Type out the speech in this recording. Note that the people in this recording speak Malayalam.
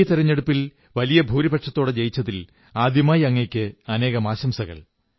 ഈ തെരഞ്ഞെടുപ്പിൽ വലിയ ഭൂരിപക്ഷത്തോടെ ജയിച്ചതിൽ ആദ്യമായി അങ്ങയ്ക്ക് അനേകം ആശംസകൾ